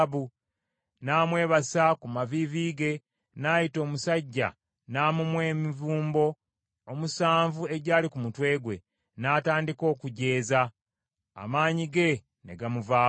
N’amwebasa ku maviivi ge, n’ayita omusajja n’amumwa emivumbo omusanvu egyali ku mutwe gwe, n’atandika okujeeza, amaanyi ge ne gamuvaako.